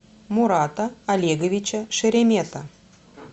мурата олеговича шеремета